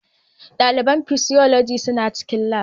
Dalibin Physiology suna cikin Lab